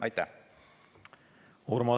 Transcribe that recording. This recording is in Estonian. Aitäh!